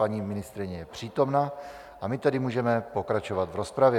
Paní ministryně je přítomna, a my tedy můžeme pokračovat v rozpravě.